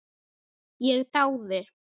Ég dáði